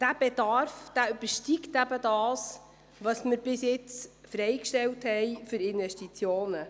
Dieser Bedarf übersteigt eben das, was wir bisher für Investitionen freigestellt hatten.